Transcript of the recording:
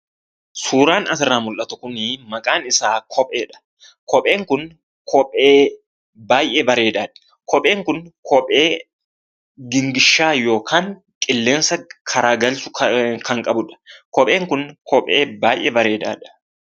Suuraan asirraa mul'atu Kun maqaan isaa kopheedha. Kopheen kun kophee baay'ee bareedaadha. Kopheen Kun kophee gingilchaa yookiin karaa qilleensa naqu baay'ee kan qabudha. Kopheen Kun kophee baay'ee bareedaadha.